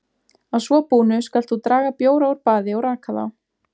Að svo búnu skalt þú draga bjóra úr baði og raka þá.